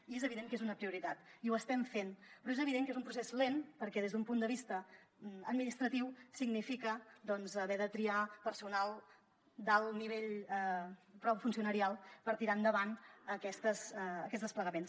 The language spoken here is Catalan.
i és evident que és una prioritat i ho estem fent però és evident que és un procés lent perquè des d’un punt de vista administratiu significa doncs haver de triar personal d’alt nivell funcionarial per tirar endavant aquests desplegaments